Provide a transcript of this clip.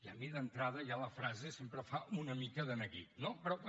a mi d’entrada ja la frase sempre fa una mica de neguit no però bé